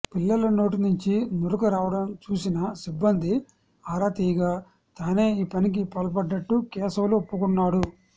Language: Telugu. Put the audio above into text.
పిల్లల నోటి నుంచి నురగ రావడం చూసిన సిబ్బంది ఆరా తీయగా తానే ఈ పనికి పాల్పడ్డట్టు కేశవులు ఒప్పుకున్నాడు